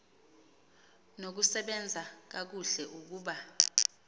nokusebenza kakuhle ukuba